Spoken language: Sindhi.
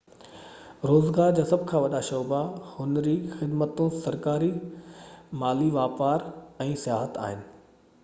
روزگار جا سڀ کان وڏا شعبا هنري خدمتون سرڪار مالي واپار ۽ سياحت آهن